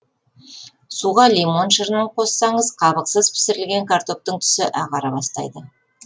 суға лимон шырынын қоссаңыз қабықсыз пісірілген картоптың түсі ағара бастайды